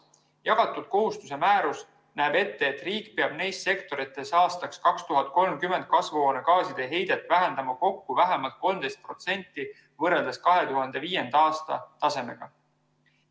Jagatud kohustuse määrus näeb ette, et riik peab neis sektorites aastaks 2030 kasvuhoonegaaside heidet vähendama kokku vähemalt 13% võrreldes 2005. aasta tasemega.